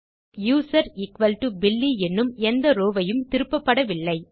ஏனெனில் username equal to Billy என்னும் எந்த ரோவ் வும் திருப்பப்படவில்லை